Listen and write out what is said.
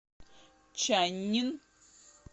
чаннин